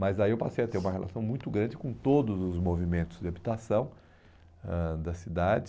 Mas aí eu passei a ter uma relação muito grande com todos os movimentos de habitação ãh da cidade.